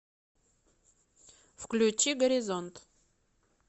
включи горизонт